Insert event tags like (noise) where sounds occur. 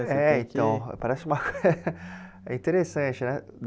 Você tem que É, então, parece uma... (laughs) é interessante, né?